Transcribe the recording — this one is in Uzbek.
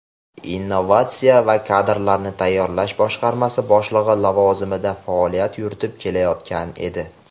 innovatsiya va kadrlarni tayyorlash boshqarmasi boshlig‘i lavozimida faoliyat yuritib kelayotgan edi.